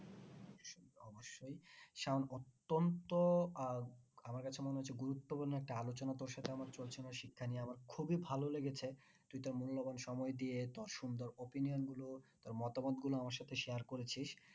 সায়ন অত্যন্ত আর আমার কাছে মনে হচ্ছে গুরুত্বপূর্ণ একটা আলোচনা তোর সাথে আমার চলছিল শিক্ষা নিয়ে আমার খুবই ভালো লেগেছে তুই তোর মূল্যবান সময় দিয়ে তোর সুন্দর opinion গুলো তোর মতামত গুলো আমার সাথে share করেছিস